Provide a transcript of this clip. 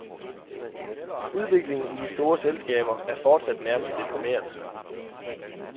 Udviklingen i de store selskaber er fortsat nærmest deprimerende.